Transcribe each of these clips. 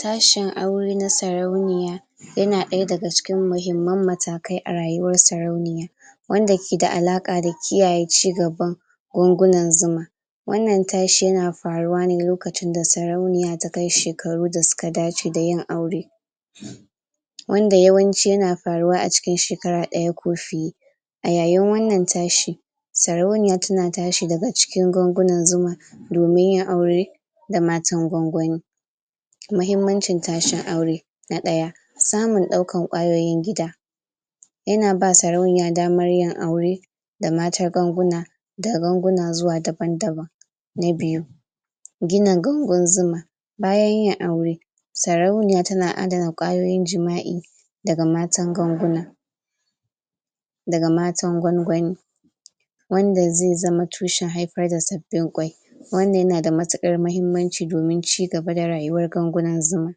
Tashin aure na sarauniya yana ɗaya daga cikin mahimman matakai a rayuwar sarauniya wanda keda alaka da kiyaye cigaban gwangunan zuman wannan tashi yana faruwa ne lokacin da sarauniya ta kai shekaru da suka dace da yin aure um wanda yawanci yana faruwa a cikin shekara ɗaya ko fiye a yayin wannan tashi sarauniya tana tashi daga cikin gwangunan zuma domin yin aure da matan gwangwani mahimmancin tashin aure na ɗaya samun ɗaukan kwayoyin gida yana ba sarauniya daman yin aure da matar gwanguna daga gwanguna zuwa daban-daban na biyu gina gangun zuma bayan yin aure sarauniya tana adana kwayoyim jima'i daga matan gwanguna daga matan gwangwani wanda zai zama tushen haifar da sabbin kwai wannan yana da matukar mahimmanci domin ci gaba da rayuwar gwangunan zuma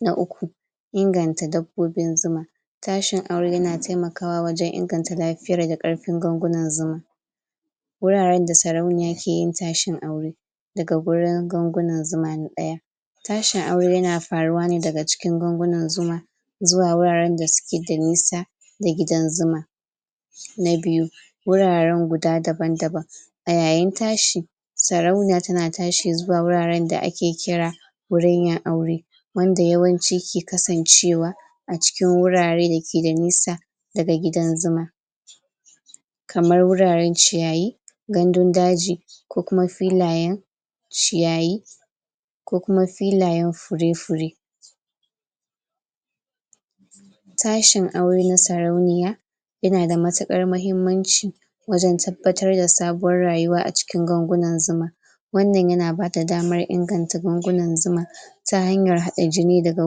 na uku inganta dabbobin zuma tashin aure yana taimakawa wajen inganta lafiyan da ƙarfin gwangunan zuma wuraren da sarauniya ke yin tashin aure daga gurin gwangunan zuma na ɗaya tashin aure yana faruwa ne daga cikin gwangunan zuma zuwa wuraren da suke da nisa da gidan zuma na biyu wuraren guda daban-daban a yayin tashi sarauniya tana tashi zuwa wuraren da ake kira wurin yin aure wanda yawanci ke kasancewa a cikin wurare da ke da nisa daga gidan zuma kamar wuraren ciyayi gandun daji ko kuma filayen ciyayi ko kuma filayen fure-fure tashin aure na sarauniya yana da matukar mahimmanci wajen tabbatar da sabuwar rayuwa a cikin gangunan zuma wannan yana bada damar inganta gwangunan zuma ta hanyar haɗa jini daga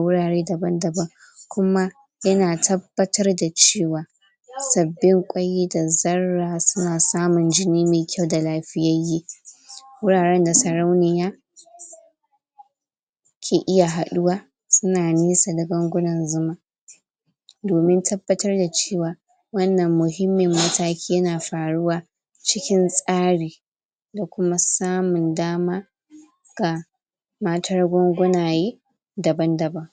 wurare daban-daban kuma yana tabbatar da cewa sabbin kwai da zarra suna samin jini mai kyau da lafiyayye wuraren da sarauniya ke iya haɗuwa suna nesa da gangunan zuma domin tabbatar da cewa wannan muhimmin mataki yana faruwa cikin tsari da kuma samun dama ga matar gwanganaye daban-daban